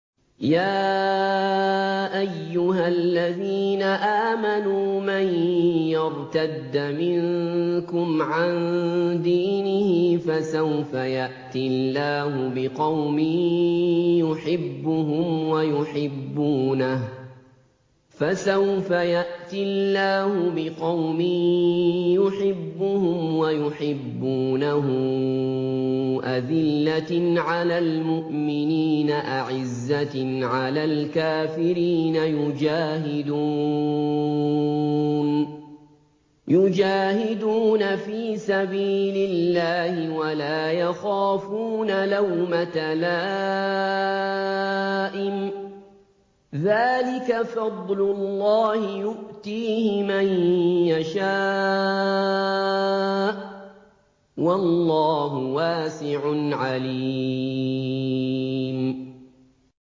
يَا أَيُّهَا الَّذِينَ آمَنُوا مَن يَرْتَدَّ مِنكُمْ عَن دِينِهِ فَسَوْفَ يَأْتِي اللَّهُ بِقَوْمٍ يُحِبُّهُمْ وَيُحِبُّونَهُ أَذِلَّةٍ عَلَى الْمُؤْمِنِينَ أَعِزَّةٍ عَلَى الْكَافِرِينَ يُجَاهِدُونَ فِي سَبِيلِ اللَّهِ وَلَا يَخَافُونَ لَوْمَةَ لَائِمٍ ۚ ذَٰلِكَ فَضْلُ اللَّهِ يُؤْتِيهِ مَن يَشَاءُ ۚ وَاللَّهُ وَاسِعٌ عَلِيمٌ